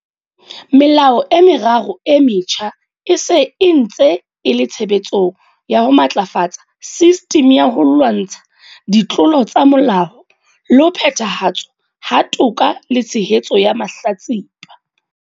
Melao e meraro e metjha e se e ntse e le tshebetsong ya ho matlafatsa sistimi ya ho lwantsha ditlolo tsa molao le ho phethahatswa ha toka le tshehetso ya mahlatsipa.